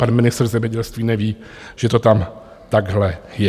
Pan ministr zemědělství neví, že to tam takhle je.